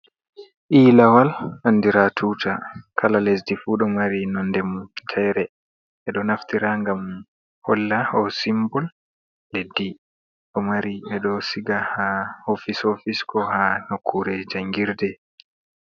Ilawal andira tuta cala lesdi fu ɗo mari nondemun fere ɓedo naftira ngam holla o simbol leddi ɗo mari ɓeɗo siga ha ofis ofisko ha nakure jangirɗe.